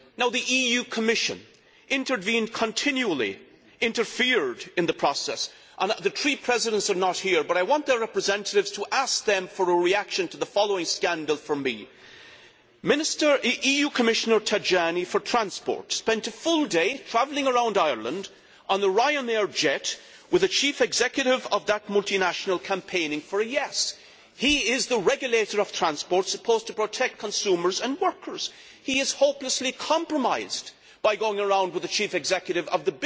The EU Commission intervened continually interfered in the process. The three Presidents are not here, but I want their representatives to ask them for a reaction to the following scandal. Mr Tajani, EU Commissioner for Transport, spent a full day travelling around Ireland on a Ryanair jet with the Chief Executive of that multinational, campaigning for a yes' vote. He is the regulator of transport, supposed to protect consumers and workers. He is hopelessly compromised by going around with the chief executive